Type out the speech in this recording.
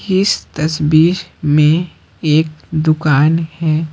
इस तस्वीरमें एक दुकान है।